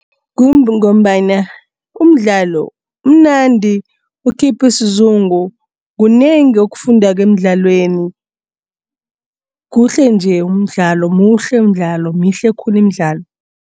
Kungombana umdlalo umnandi ukhipha isizungu kunengi okufundako emdlalweni. Kuhle-nje umdlalo, muhle mdlalo, mihle khulu imidlalo.